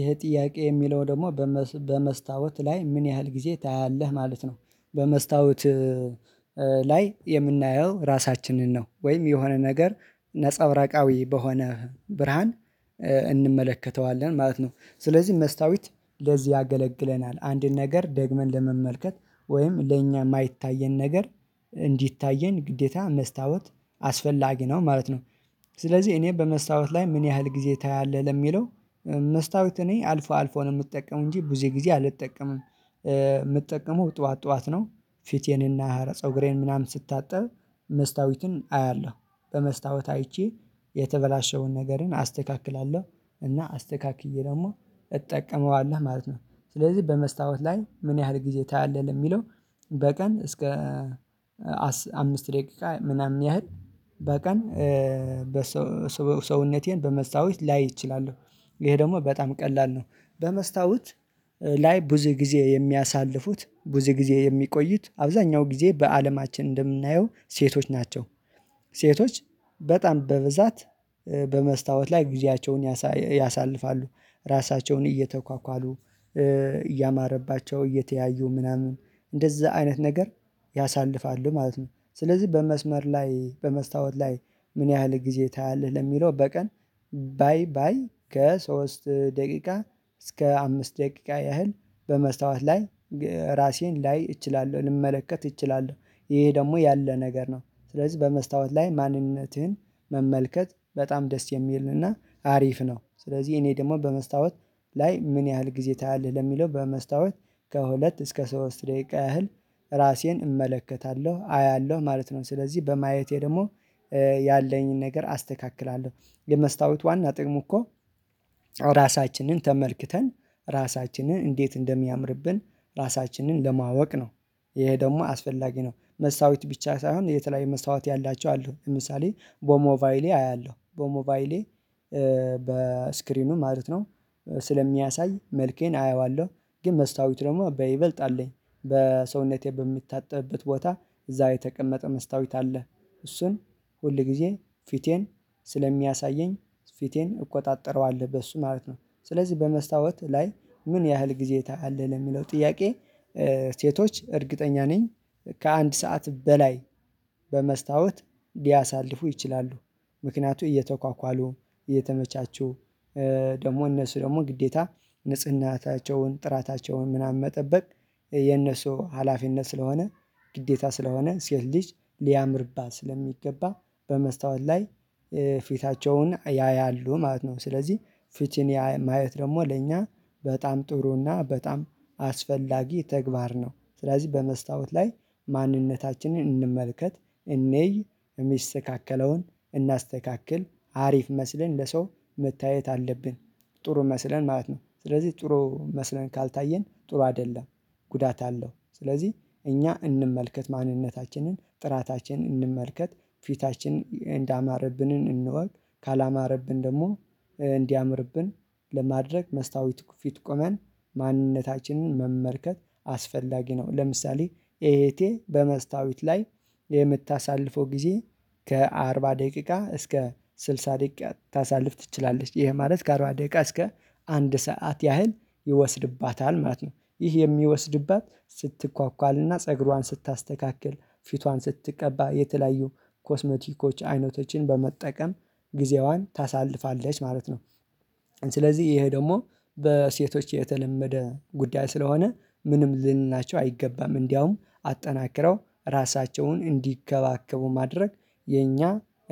ይሄ ጥያቄ የሚለው ደግሞ በመስታወት ላይ ምን ያህል ጊዜ ታያለህ? ማለት ነው በመስታወት ላይ የምናየው ራሳችንን ነው ወይም የሆነ ነገር ነፀብራቃዊ በሆነ ብርሃን እንመለከተዋለን ማለት ነው። ስለዚህ መስታወት ለዚህ ያገለግለናል አንድን ነገር ደግመን ለመመልከት ወይም ለእኛ የማይታየን ነገር እንዲታየን ግዴታ መስታወት አስፈላጊ ነው ማለት ነው። ስለዚህ እኔ በመስታወት ላይ ምን ያህል ጊዜ ታያለህ ለሚለው መስታወት እኔ አልፎ አልፎ ነው የምጠቀመው እንጂ ብዙ ጊዜ አልጠቀምም የምጠቀመው ጠዋት ጠዋት ነው። ፊቴን እና ፀጉሬን ምናምን ስታጠብ መስታወቱን አያለሁ በመስታወት አይቼ የተበላሸውን ነገርን አስተካክላለሁ እና አስተካክዬ ደግሞ እጠቀመዋለሁ ማለት ነው። ስለዚህ በመስታወት ላይ ምን ያህል ጊዜ ታያለህ ለሚለው በቀን እስከ አምስት ደቂቃ ምናምን ያህል በቀን በሰው ሰውነቴን በመስታወት ላይ እችላለሁ ይሄ ደግሞ በጣም ቀላል ነው። በመስታወት ላይ ብዙ ጊዜ የሚያሳልፉት ብዙ ጊዜ የሚቆዩት አብዛኛው ጊዜ በአለማችን እንደምናየው ሴቶች ናቸው። ሴቶች በጣም በብዛት በመስታወት ላይ ጊዜያቸውን ያሳልፋሉ ራሳቸውን እየተኳኳሉ እያማረባቸው እየተያዩ ምናምን እንደዛ አይነት ነገር ያሳልፋሉ ማለት ነው። ስለዚህ በመስመር ላይ በመስታወት ላይ ምን ያህል ጊዜ ታያለህ ለሚለው በቀን ባይ ባይ ከሶስት ደቂቃ እስከ አምስት ደቂቃ ያህል በመስታወት ላይ ራሴን ላይ እችላለሁ ልመለከት እችላለሁ። ይሄ ደግሞ ያለ ነገር ነው ስለዚህ በመስታወት ላይ ማንነትህን መመልከት በጣም ደስ የሚል እና አሪፍ ነው። ስለዚህ እኔ ደግሞ በመስታወት ላይ ምን ያህል ጊዜ ታያለህ ለሚለው በመስታወት ከሁለት እስከ ሶስት ደቂቃ ያህል ራሴን እመለከታለሁ አያለሁ ማለት ነው። ስለዚህ በማየቴ ደግሞ ያለኝን ነገር አስተካክላለሁ የመስታወት ዋና ጥቅሙ እኮ ራሳችንን ተመልክተን ራሳችንን እንዴት እንደሚያምርብን ራሳችንን ለማወቅ ነው። ይሄ ደግሞ አስፈላጊ ነው። መስታወት ብቻ ሳይሆን የተለያየ መስታወት ያላቸው አሉ ለምሳሌ በሞባይሌ አያለሁ በሞባይሌ በስክሪኑ ማለት ነው ስለሚያሳይ መልኬን አየዋለሁ። ግን መስታወት ደግሞ በይበልጥ አለኝ በሰውነቴ በምታጠብበት ቦታ እዛ ላይ የተቀመጠ መስታወት አለ። እሱን ሁልጊዜ ፊቴን ስለሚያሳየኝ ፊቴን እቆጣጠረዋለሁ በሱ ማለት ነው። ስለዚህ በመስታወት ላይ ምን ያህል ጊዜ ታያለህ ለሚለው ጥያቄ ሴቶች እርግጠኛ ነኝ። ከአንድ ሰዓት በላይ በመስታወት ሊያሳልፉ ይችላሉ። ምክንያቱ እየተኳኳሉ እየተመቻቹ ደግሞ እነሱ ደግሞ ግዴታ ንጽህናቸውን ጥራታቸውን ምናምን መጠበቅ የነሱ ሀላፊነት ስለሆነ ግዴታ ስለሆነ ሴት ልጅ ሊያምርባት ስለሚገባ በመስታወት ላይ ፊታቸውን ያያሉ ማለት ነው። ስለዚህ ፊትን ማየት ደግሞ ለእኛ በጣም ጥሩ እና በጣም አስፈላጊ ተግባር ነው። ስለዚህ በመስታወት ላይ ማንነታችንን እንመልከት እንይ የሚስተካከለውን እናስተካክል አሪፍ መስለን ለሰው መታየት አለብን። ጥሩ መስለን ማለት ነው። ስለዚህ ጥሩ መስለን ካልታየን ጥሩ አይደለም። ጉዳት አለው ስለዚህ እኛ እንመልከት ማንነታችንን ጥራታችንን እንመልከት ፊታችን እንዳማረብንን እንወቅ ካላማረብን ደግሞ እንዲያምርብን ለማድረግ መስታወት ፊት ቆመን ማንነታችንን መመልከት አስፈላጊ ነው። ለምሳሌ እህቴ በመስታወት ላይ የምታሳልፈው ጊዜ ከአርባ ደቂቃ እስከ ስልሳ ደቂቃ ልታሳልፍ ትችላለች ይሄ ማለት ከአርባ ደቂቃ እስከ አንድ ሰዓት ያህል ይወስድባታል ማለት ነው። ይህ የሚወስድባት ስትኳኳል እና ፀጉሯን ስታስተካክል ፊቷን ስትቀባ የተለያዩ ኮስሞቲኮች አይነቶችን በመጠቀም ጊዜዋን ታሳልፋለች ማለት ነው። ስለዚህ ይሄ ደግሞ በሴቶች የተለመደ ጉዳይ ስለሆነ ምንም ልንላቸው አይገባም። እንደውም አጠናክረው ራሳቸውን እንዲንከባከቡ ማድረግ የኛ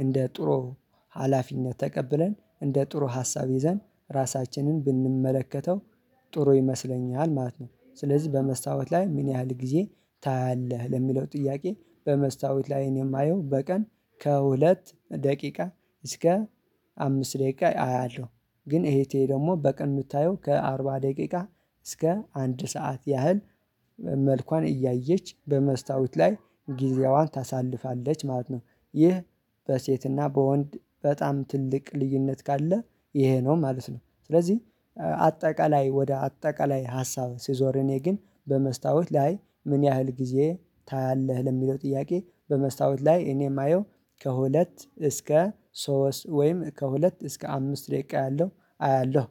እንደ ጥሩ ሀላፊነት ተቀብለን እንደ ጥሩ ሀሳብ ይዘን ራሳችንን ብንመለከተው ጥሩ ይመስለኛል ማለት ነው። ስለዚህ በመስታወት ላይ ምን ያህል ጊዜ ታያለህ ለሚለው ጥያቄ በመስታወት ላይ እኔ የማየው በቀን ከሁለት ደቂቃ እስከ አምስት ደቂቃ አያለሁ። ግን እህቴ ደግሞ በቀን ምታየው ከአርባ ደቂቃ እስከ አንድ ሰዓት ያህል መልኳን እያየች በመስታወት ላይ ጊዜዋን ታሳልፋለች ማለት ነው። ይህ በሴት እና በወንድ በጣም ትልቅ ልዩነት ካለ ይሄ ነው ማለት ነው። ስለዚህ አጠቃላይ ወደ አጠቃላይ ሀሳብ ስዞር እኔ ግን በመስታወት ላይ ምን ያህል ጊዜ ታያለህ ለሚለው ጥያቄ በመስታወት ላይ እኔ የማየው ከሁለት እስከ ሶስት ወይም ከሁለት እስከ አምስት ደቂቃ ያለው አያለሁ